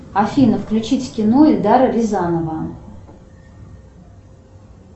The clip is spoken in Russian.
афина включить кино эльдара рязанова